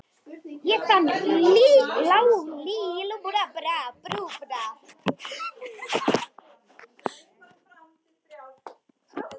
Ég fann nálykt með þér, þegar þú komst inn.